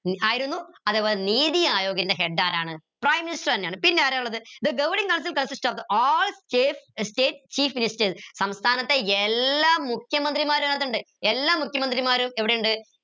ആയിരുന്നു അത്പോലെ നീതി ആയോഗിന്റെ head ആരാണ് prime minister എന്നെയാണ് പിന്നാരാ ഇള്ളത് the governing Council consist of all state chief ministers സംസ്ഥാനത്തെ എല്ലാ മുഖ്യമന്ത്രിമാരും ഇതിനകത്തിണ്ട് എല്ലാ മുഖ്യമന്ത്രിമാരും എവിടെയുണ്ട്